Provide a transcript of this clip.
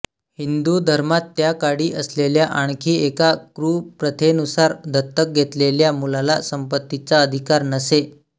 हिंदू धर्मात त्याकाळी असलेल्या आणखी एका कुप्रथेनुसार दत्तक घेतलेल्या मुलाला संपत्तीचा अधिकार नसे